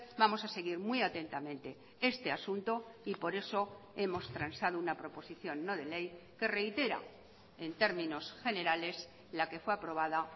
vamos a seguir muy atentamente este asunto y por esohemos transado una proposición no de ley que reitera en términos generales la que fue aprobada